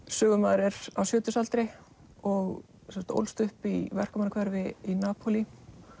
sögumaður er á sjötugsaldri og ólst upp í í Napólí